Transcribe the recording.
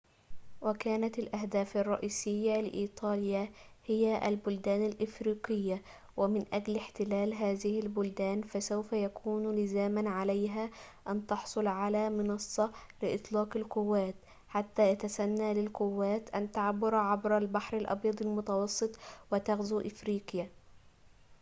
وكانت الأهداف الرئيسية لإيطاليا هي البلدان الأفريقية ومن أجل احتلال هذه البلدان فسوف يكون لزاماً عليها أن تحصل على منصة لإطلاق القوات حتى يتسنى للقوات أن تبحر عبر البحر الأبيض المتوسط وتغزو أفريقيا